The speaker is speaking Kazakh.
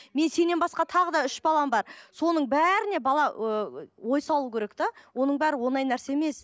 мен сеннен басқа тағы да үш балам бар соның бәріне бала ы ой салу керек те оның бәрі оңай нәрсе емес